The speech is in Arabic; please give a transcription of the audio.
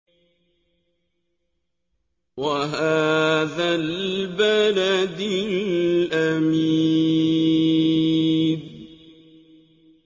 وَهَٰذَا الْبَلَدِ الْأَمِينِ